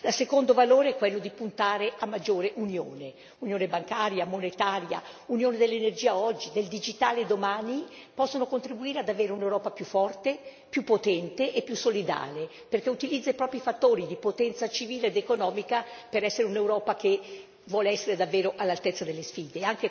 Il secondo valore è quello di puntare a maggiore unione unione bancaria, monetaria, unione dell'energia oggi, del digitale domani possono contribuire ad avere un'Europa più forte, più potente e più solidale perché utilizza i propri fattori di potenza civile ed economica per un'Europa che vuole essere davvero all'altezza delle sfide.